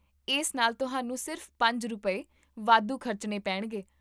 ਇਸ ਨਾਲ ਤੁਹਾਨੂੰ ਸਿਰਫ਼ ਪੰਜ ਰੁਪਏ, ਵਾਧੂ ਖ਼ਰਚਣੇ ਪੈਣਗੇ